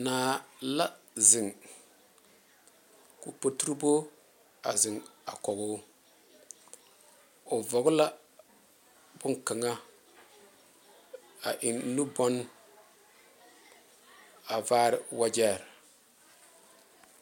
Naa la zeŋ ko'o potuurebo a zeŋ a kɔŋ o,o vɔgle la bon kaŋa a eŋ nubanne a vare wagye.